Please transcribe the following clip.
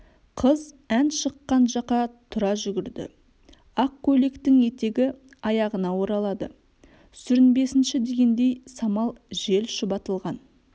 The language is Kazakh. қыз ән шыққан жаққа тұра жүгірді ақ көйлектің етегі аяғына оралады сүрінбесінші дегендей самал жел шұбатылған